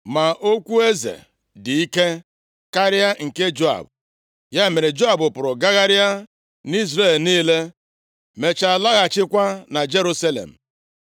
Ma okwu eze dị ike karịa nke Joab. Ya mere, Joab pụrụ gagharịa nʼIzrel niile, mechaa lọghachikwa na Jerusalem.